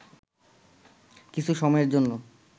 কিছু সময়ের জন্য